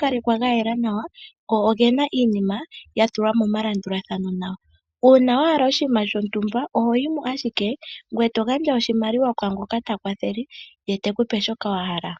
kalekwa ga yela nawa noge na iinima ya tulwa momalandulathano nawa. Uuna wa hala oshinima shontumba oho yi mo ashike ngoye to gandja oshimaliwa kwaa ngoka ta kwathele ye te ku pe shoka wa hala.